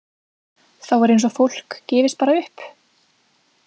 Þá er eins og fólk gefist bara upp.